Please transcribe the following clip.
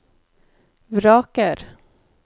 vraker